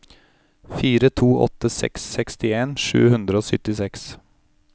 fire to åtte seks sekstien sju hundre og syttiseks